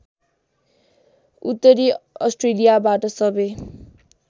उत्तरी अस्ट्रेलियाबाट सबै